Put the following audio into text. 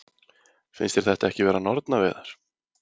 Finnst þér þetta ekki vera nornaveiðar?